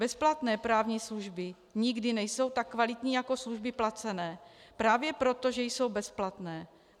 Bezplatné právní služby nikdy nejsou tak kvalitní jako služby placené právě proto, že jsou bezplatné.